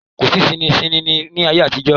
Kò sí sininsínìnnì ní ayé àtijó.